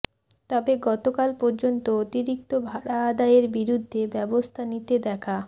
তবে গতকাল পর্যন্ত অতিরিক্ত ভাড়া আদায়ের বিরুদ্ধে ব্যবস্থা নিতে দেখা